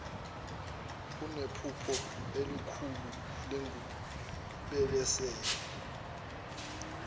kunephupho elilokhu lingibelesele